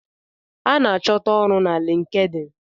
A ná achọta ọrụ na LinkedIn.